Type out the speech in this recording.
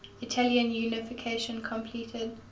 italian unification completed